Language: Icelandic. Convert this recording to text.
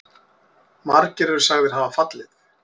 Margir eru sagðir hafa fallið.